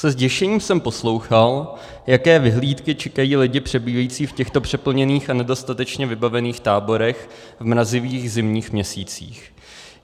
Se zděšením jsem poslouchal, jaké vyhlídky čekají lidi přebývající v těchto přeplněných a nedostatečně vybavených táborech v mrazivých zimních měsících.